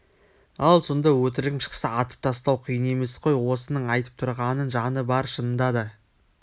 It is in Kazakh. ал сонда өтірігім шықса атып тастау қиын емес қой осының айтып тұрғанының жаны бар шынында да